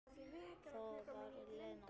Það var Lena.